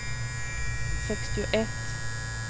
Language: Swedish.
sextioett